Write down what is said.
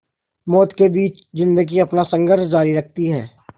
मौत के बीच ज़िंदगी अपना संघर्ष जारी रखती है